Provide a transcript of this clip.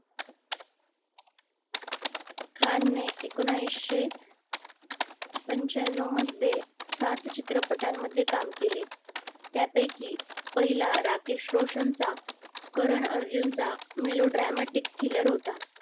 खानने एकिणीशे पंच्याण्णव मध्ये सात चित्रपटांमध्ये काम केले त्यापैकी पहिला राकेश रोशनचा कारण अर्जुनाचा melodramatic thriller होता